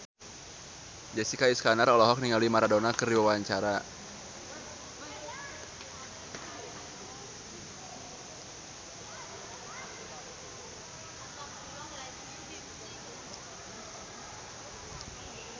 Jessica Iskandar olohok ningali Maradona keur diwawancara